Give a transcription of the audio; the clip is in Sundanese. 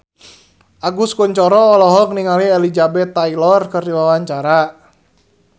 Agus Kuncoro olohok ningali Elizabeth Taylor keur diwawancara